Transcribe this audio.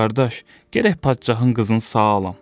Qardaş, gərək padşahın qızını sağ alam.